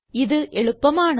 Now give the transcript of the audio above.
ഇത് എളുപ്പമാണ്